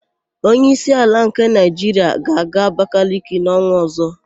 Onyeísí ala nke Naịjiria ga-aga Abakaliki n''ọnwa ọ̀zọ́.